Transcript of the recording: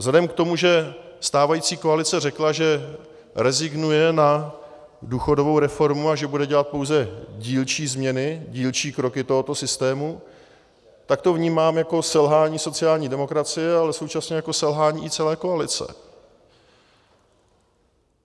Vzhledem k tomu, že stávající koalice řekla, že rezignuje na důchodovou reformu a že bude dělat pouze dílčí změny, dílčí kroky tohoto systému, tak to vnímám jako selhání sociální demokracie, ale současně i jako selhání celé koalice.